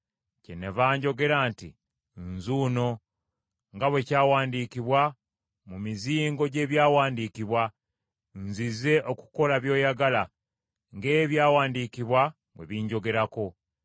Kyennava njogera nti, ‘Nzuno, nga bwe kyawandiikibwa mu mizingo gy’ebyawandiikibwa: Nzize okukola by’oyagala, ng’Ebyawandiikibwa bwe binjogerako.’ ”